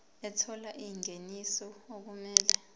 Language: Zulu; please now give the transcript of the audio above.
ethola ingeniso okumele